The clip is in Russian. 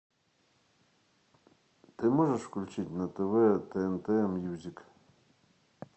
ты можешь включить на тв тнт мьюзик